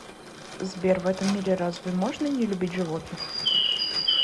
сбер в этом мире разве можно не любить животных